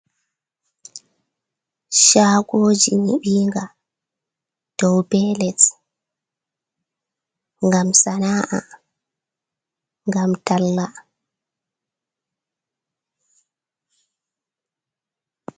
Chagoji nyiɓinga dou be les ngam sana’a gam tallaa